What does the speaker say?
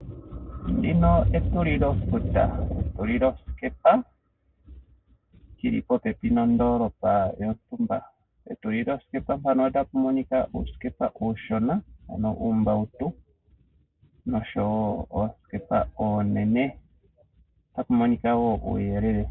Ndino ekulilofuta, ekuliloskepa, yi li popepi nondoolopa yontumba. Petulilosikepa mpano otapu moniks uusikepa uushona, uumbautu, nosho wo oosikepa oonene o